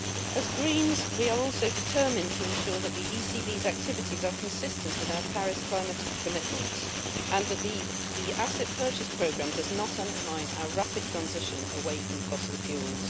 As Greens, we are also determined to ensure that the ECB's activities are consistent with our Paris climate commitments and that the asset purchase programme does not undermine our rapid transition away from fossil fuels.